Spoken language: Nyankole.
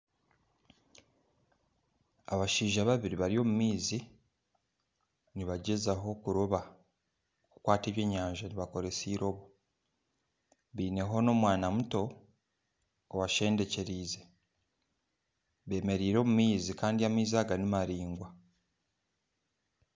Abashaija babiri bari omumaizi bariyo nibagyezaho kuroba kukwata ebyenyaza nibakoresa eirobo baineho omwana muto obasendekyereize bemereire omumaizi Kandi amaizi aga nimaraingwa